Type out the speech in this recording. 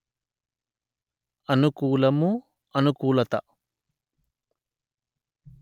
అనుకూలము అనుకూలత